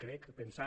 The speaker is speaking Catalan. crec pensar